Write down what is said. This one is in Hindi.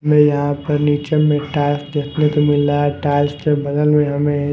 हमें यहां पर नीचे में टाइल्स देखने को मिल रहा है टाइल्स के बगल में हमे--